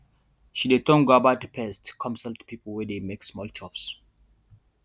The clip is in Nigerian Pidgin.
she de turn guava to paste come sell to people wey de make small chops